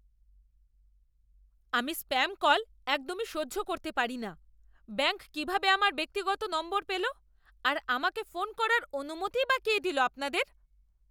আমি spam call একদম সহ্য করতে পারি না। ব্যাঙ্ক কীভাবে আমার ব্যক্তিগত নম্বর পেল আর আমাকে ফোন করার অনুমতিই বা কে দিল আপনাদের?